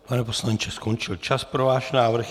Pane poslanče, skončil čas pro váš návrh.